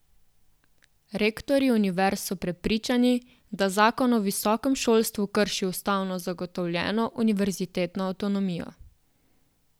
Rektorji univerz so prepričani, da zakon o visokem šolstvu krši ustavno zagotovljeno univerzitetno avtonomijo.